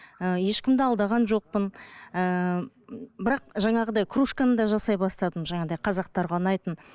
і ешкімді алдаған жоқпын ыыы бірақ жаңағыдай кружканы да жасай бастадым жаңағындай қазақтарға ұнайтын